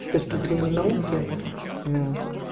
с точки зрения науки